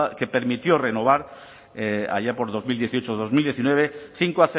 que permitió renovar allá por dos mil dieciocho dos mil diecinueve cinco